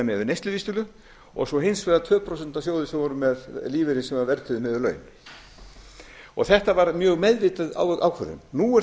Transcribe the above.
við neysluvísitölu og svo hins vegar tveggja prósenta sjóði sem voru með lífeyri sem var verðtryggður miðað við laun þetta var mjög meðvituð ákvörðun nú er